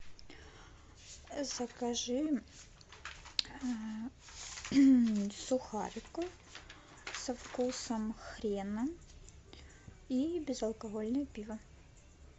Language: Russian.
закажи сухариков со вкусом хрена и безалкогольное пиво